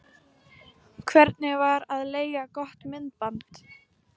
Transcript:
Hvernig væri að leigja gott myndband?